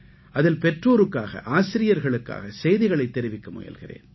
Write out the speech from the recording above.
அதில் பெற்றோருக்காக ஆசிரியர்களுக்காக செய்திகளைத் தெரிவிக்க முயல்கிறேன்